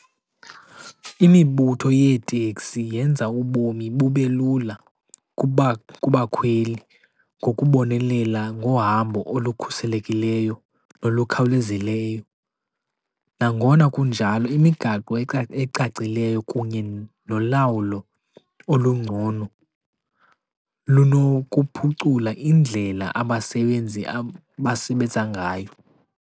Imibutho yeeteksi yenza ubomi bube lula kubakhweli ngokubonelela ngohambo olukhuselekileyo nolukhawulezileyo. Nangona kunjalo, imigaqo ecacileyo kunye nolawulo olungcono lunokuphucula indlela abasebenzi abasebenza ngayo.